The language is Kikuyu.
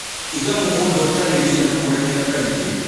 Iga mũgũnda ũtarĩ ria na kũrĩmĩra kaingĩ